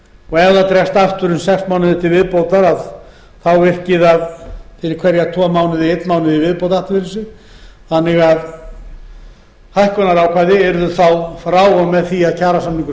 og ef það dregst aftur um sex mánuði til viðbótar virki það fyrir hverja tvö mánuði í einn mánuð í viðbót aftur fyrir sig þannig að hækkunarákvæði yrðu þá frá og með því að kjarasamningur